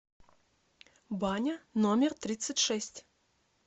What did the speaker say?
баня номер тридцать шесть